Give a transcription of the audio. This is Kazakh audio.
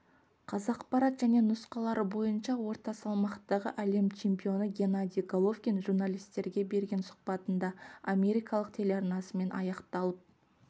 қазақпарат және нұсқалары бойынша орта салмақтағы әлем чемпионы геннадий головкин журналистерге берген сұхбатында америкалық телеарнасымен аяқталып